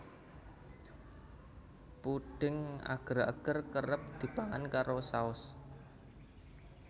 Pudhing ager ager kerep dipangan karo saos